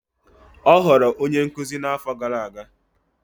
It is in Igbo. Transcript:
Ọ ghọrọ onye nkuzi n'afọ gara aga.